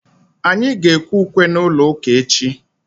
anyị ga-ekwe ukwe n'ụlọ ụka echi.